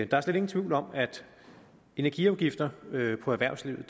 der er slet ingen tvivl om at energiafgifter på erhvervslivet